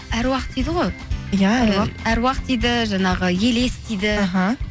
әруақ дейді ғой иә әруақ әруақ дейді жаңағы елес дейді іхі